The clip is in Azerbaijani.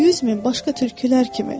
Yüz min başqa tülkülər kimi.